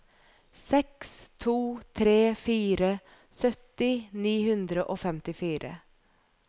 seks to tre fire sytti ni hundre og femtifire